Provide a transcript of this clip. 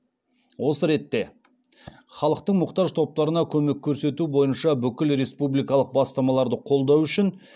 осы ретте халықтың мұқтаж топтарына көмек көрсету бойынша бүкіл республикалық бастамаларды қолдау үшін